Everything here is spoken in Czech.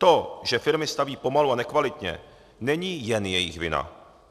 To, že firmy staví pomalu a nekvalitně, není jen jejich vina.